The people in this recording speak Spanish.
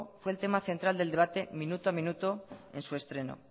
fue el tema central del debate minuto a minuto en su estreno